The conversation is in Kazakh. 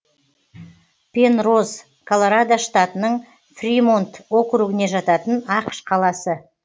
пенроз колорадо штатының фримонт округіне жататын ақш қаласы